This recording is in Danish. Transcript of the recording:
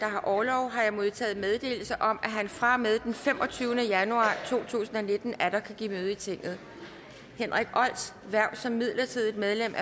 har orlov har jeg modtaget meddelelse om at han fra og med den femogtyvende januar to tusind og nitten atter kan give møde i tinget henrik olds hverv som midlertidigt medlem